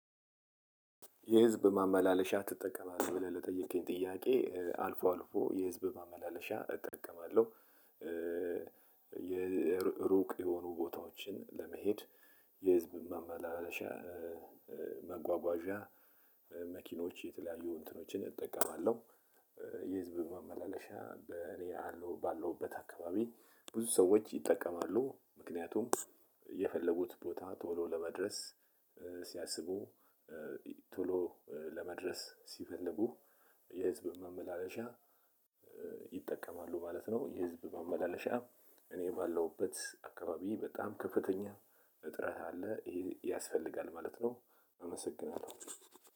የህዝብ ማመላለሻ ትጠቀማለህ? ብለህ ለጠየከኝ ጥያቄ አልፎ አልፎ የህዝብ ማመላለሻ እጠቀማለሁ። የሩቅ የሆኑ ቦታዎችን ለመሄድ የህዝብ መመላለሻ ማጓጓዣ መኪኖች የተለያዩ እንትኖችን እጠቀማለሁ። የህዝብ ማመላለሻ በኔ አለው ባለሁበት አካባቢ ብዙ ሰዎች ይጠቀማሉ። ምክንያቱም የፈለጉት ቦታ ቶሎ ለመድረስ ሲያስቡ ቶሎ ለመድረስ ሲፈልጉ የህዝብ ማመላለሻ ይጠቀማሉ ማለት ነው። የህዝብ ማመላለሻ እኔ ባለሁበት አካባቢ በጣም ከፍተኛ እጥረት አለ ይሄ ያስፈልጋል ማለት ነው። አመሰግናለሁ።